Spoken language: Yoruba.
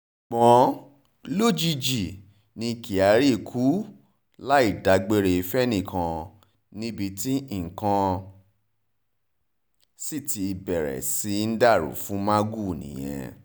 ṣùgbọ́n lójijì ni kyari kú láì dágbére fẹ́nìkan níbi tí nǹkan sì ti bẹ̀rẹ̀ sí í dàrú fún magu nìyẹn